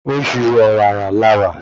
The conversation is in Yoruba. Oṣù ọ̀wàrà la wà